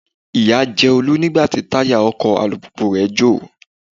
Ìyà jẹ Olú nígbà tí táyà ọkọ̀ alùpùpù rẹ jọ̀.